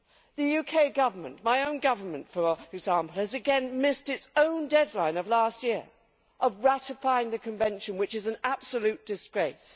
The UK Government my own government for example, has again missed its own deadline of last year for ratifying the Convention, which is an absolute disgrace.